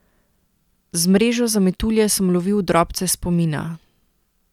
Z mrežo za metulje sem lovil drobce spomina.